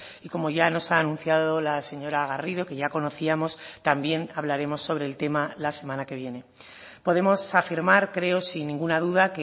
y como ya nos ha anunciado la señora garrido que ya conocíamos también hablaremos sobre el tema la semana que viene podemos afirmar creo sin ninguna duda